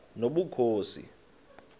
nobukhosi